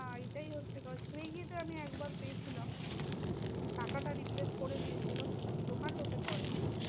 না এইটাই হচ্ছে কথা swiggy তে আমি একবার পেয়েছিলাম। টাকাটা replace করে দিয়েছিলো। কিন্তু zomato তে করেনি।